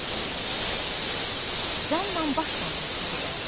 Kişi cannan başla təklif edərəm.